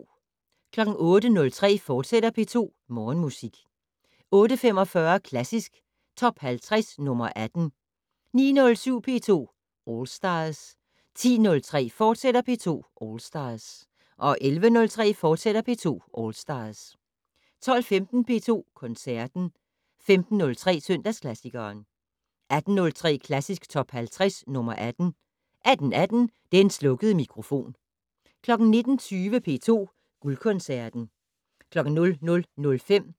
08:03: P2 Morgenmusik, fortsat 08:45: Klassisk Top 50 - nr. 18 09:07: P2 All Stars 10:03: P2 All Stars, fortsat 11:03: P2 All Stars, fortsat 12:15: P2 Koncerten 15:03: Søndagsklassikeren 18:03: Klassisk Top 50 - nr. 18 18:18: Den slukkede mikrofon 19:20: P2 Guldkoncerten